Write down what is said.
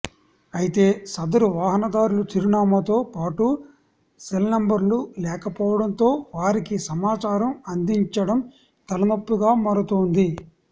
అయితే సదరు వాహనదారుల చిరునామాతో పాటు సెల్నంబర్లు లేకపోవడంతో వారికి సమాచారం అదించడం తలనొప్పిగా మారుతోంది